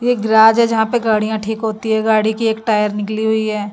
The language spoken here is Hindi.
एक गैरेज है यहां पे गाड़ियाँ ठीक होती है गाड़ी की एक टायर निकली हुई है।